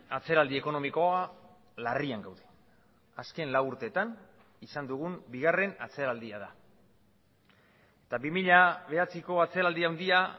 atzeraldi ekonomikoa larrian gaude azken lau urteetan izan dugun bigarren atzeraldia da eta bi mila bederatziko atzeraldi handia